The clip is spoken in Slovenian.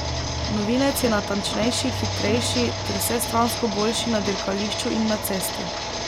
Novinec je natančnejši, hitrejši ter vsestransko boljši na dirkališču in na cesti.